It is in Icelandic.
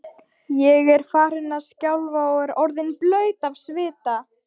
Ég var farin að skjálfa og orðin blaut af svita.